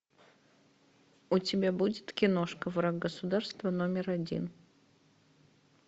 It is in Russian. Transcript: у тебя будет киношка враг государства номер один